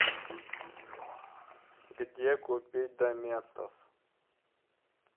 где купить доместос